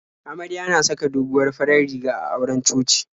Amarya na saka doguwar farar riga a auren coci.